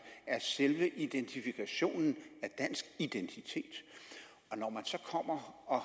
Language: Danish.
er selve identifikationen af dansk identitet når man så kommer og